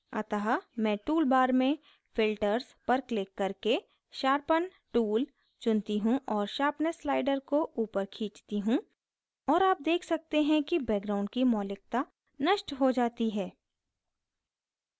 अतः मैं tool bar में filters पर क्लिक करके sharpen tool चुनती हूँ और sharpness slider को ऊपर खींचती हूँ और आप देख सकते हैं कि background की मौलिकता नष्ट हो जाती है